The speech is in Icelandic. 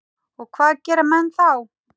Og hvað gera menn þá?